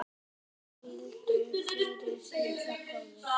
Hvíldu friði, litli bróðir.